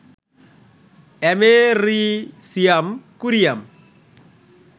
americium, curium,